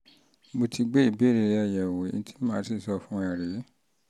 mo ti gbé ìbéèrè rẹ yẹ̀wò ohun tí màá sì sọ fún ọ rèé